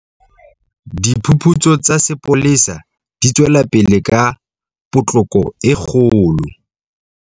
Diphuputso tsa sepolesa di tswelapele ka potloko e kgolo.